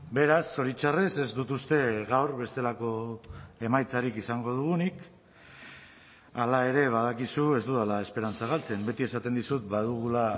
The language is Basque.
beraz zoritxarrez ez dut uste gaur bestelako emaitzarik izango dugunik hala ere badakizu ez dudala esperantza galtzen beti esaten dizut badugula